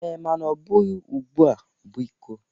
Ee, mana ọbụghị ugbụa, biko.